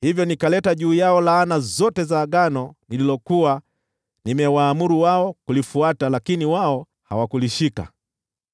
Hivyo nikaleta juu yao laana zote za agano nililokuwa nimewaamuru wao kulifuata, lakini wao hawakulishika.’ ”